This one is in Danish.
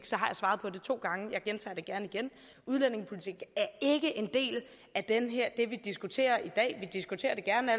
jeg har svaret på det to gange jeg gentager det gerne igen udlændingepolitik er ikke en del af det vi diskuterer i dag vi diskuterer